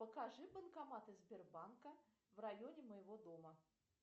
покажи банкоматы сбербанка в районе моего дома